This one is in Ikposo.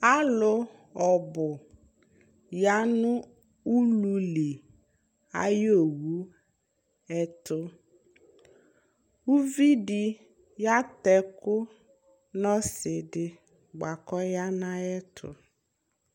Alʋ ɔbʋ ya nʋ ululi ayʋ owu ɛtʋ Uvi dɩ yatɛ ɛkʋ nʋ ɔsɩ dɩ bʋa kʋ ɔya nʋ ayɛtʋ